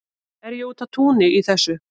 er ég úti á túni í þessu